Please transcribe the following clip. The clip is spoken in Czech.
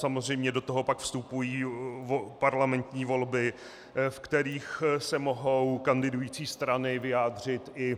Samozřejmě do toho pak vstupují parlamentní volby, ve kterých se mohou kandidující strany vyjádřit i